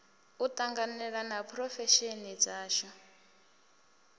u tanganelana ha phurofesheni dzashu